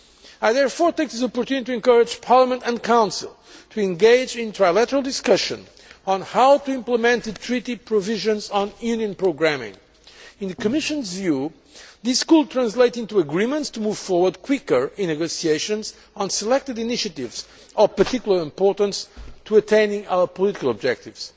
work. I therefore take this opportunity to encourage Parliament and the Council to engage in trilateral discussions on how to implement the treaty provisions on Union programming. In the Commission's view, this could translate into agreements to move forward quicker in negotiations on selected initiatives of particular importance to attaining our political objectives.